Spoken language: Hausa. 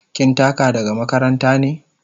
Kin taka daga makaranta ne?